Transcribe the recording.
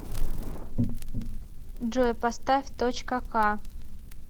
джой поставь точка ка